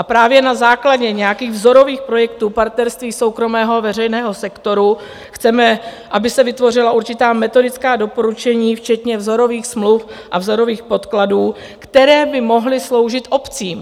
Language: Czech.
A právě na základě nějakých vzorových projektů partnerství soukromého a veřejného sektoru chceme, aby se vytvořila určitá metodická doporučení včetně vzorových smluv a vzorových podkladů, které by mohly sloužit obcím.